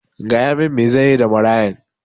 Gaya min me zanyi da marayan